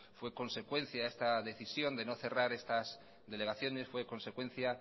fue consecuencia esta decisión de no cerrar estas delegaciones fue consecuencia